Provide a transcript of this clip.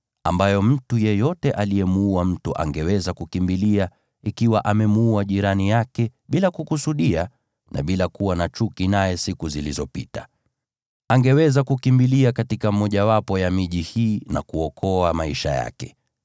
ambayo mtu yeyote aliyemuua mtu angeweza kukimbilia ikiwa amemuua jirani yake bila kukusudia na bila kuwa na chuki naye siku zilizopita. Angeweza kukimbilia katika mmojawapo ya miji hii na kuokoa maisha yake.